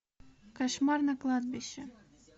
кошмар на кладбище